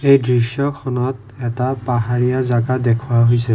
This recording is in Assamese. এই দৃশ্যখনত এটা পাহাৰীয়া জাগা দেখুওৱা হৈছে।